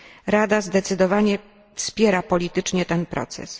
Rada zdecydowanie wspiera politycznie ten proces.